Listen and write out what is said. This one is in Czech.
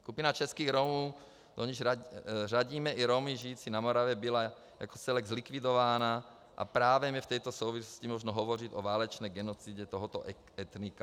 Skupina českých Romů, do níž řadíme i Romy žijící na Moravě, byla jako celek zlikvidována a právem je v této souvislosti možno hovořit o válečné genocidě tohoto etnika.